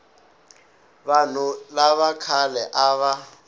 vanhu lava khale a va